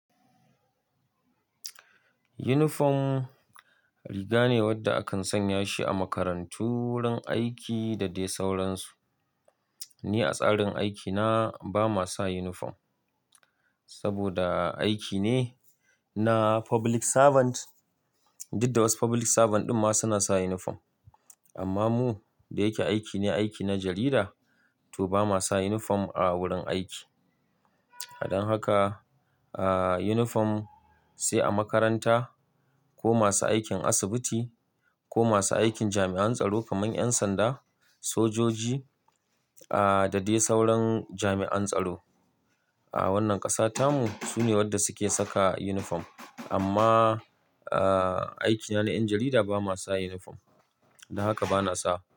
Yunifom riga ne wanda akan sanya shi a makarantu, wurin aiki da dai sauransu. Ni a tsarin aikina ba ma sa yunifom saboda aiki ne na public servant. Duk da wasu public servant ɗin ma suna sa yunifom. Amma mu da yake aiki ne aiki na jarida to ba ma sa yunifom a wurin aiki. Don haka, aa, yunifom sai a makaranta ko masu aikin asibiti ko masu aikin jami'an tsaro kamar 'yan sanda, sojoji, ah, da dai sauran jami'an tsaro. A wannan ƙasa tamu su ne waɗanda suke saka yunifom. Amma, ah, aikina na 'yan jarida ba ma sa yunifom. Don haka ba na sa.